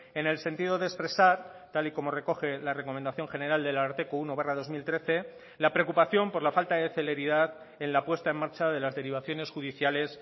en el sentido de expresar tal y como recoge la recomendación general del ararteko uno barra dos mil trece la preocupación por la falta de celeridad en la puesta en marcha de las derivaciones judiciales